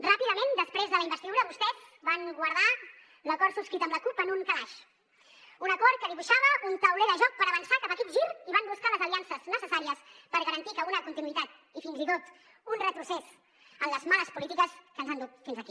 ràpidament després de la investidura vostès van guardar l’acord subscrit amb la cup en un calaix un acord que dibuixava un tauler de joc per avançar cap a aquest gir i van buscar les aliances necessàries per garantir una continuïtat i fins i tot un retrocés en les males polítiques que ens han dut fins aquí